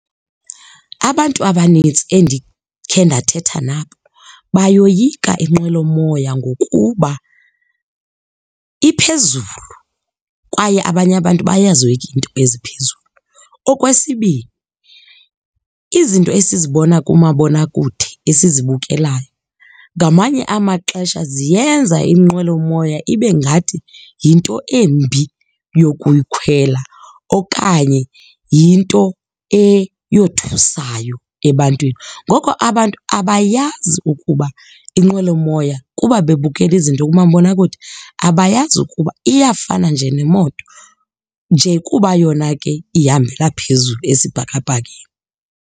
Abantu abanintsi endikhe ndathetha nabo bayoyika inqwelomoya ngokuba, iphezulu kwaye abanye abantu bayazoyika iinto eziphezulu. Okwesibini, izinto esizibona kumabonakude esizibukelayo ngamanye amaxesha ziyenza inqwelomoya ibe ngathi yinto embi yokuyikhwela okanye yinto eyothusayo ebantwini. Ngoko abantu abayazi ukuba inqwelomoya, kuba bebukela izinto kumabonakude, abayazi ukuba iyafana nje nemoto, nje kuba yona ke ihambela phezulu esibhakabhakeni.